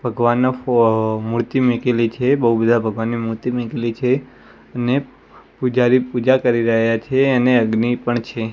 ભગવાનનો ફો મૂર્તિ મીકેલી છે બૌ બધા ભગવાનની મૂર્તિ મીકેલી છે અને પૂજારી પૂજા કરી રહ્યા છે અને અગ્નિ પણ છે.